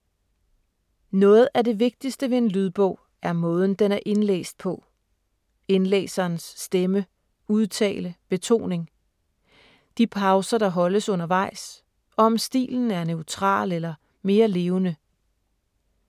Noget af det vigtigste ved en lydbog er måden den er indlæst på. Indlæserens stemme, udtale, betoning. De pauser der holdes undervejs og om stilen er neutral eller mere levende.